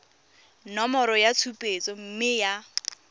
nomoro ya tshupetso mme ya